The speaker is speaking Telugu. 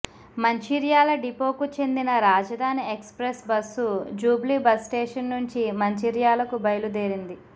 మంచిర్యాల డిపోకు చెందిన Rajdhani express bus Jubilee bus station నుంచి మంచిర్యాలకు బయలుదేరింది